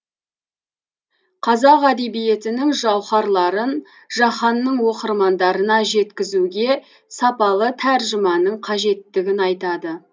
қазақ әдебиетінің жауһарларын жаһанның оқырмандарына жеткізуге сапалы тәржіманың қажеттігін айтады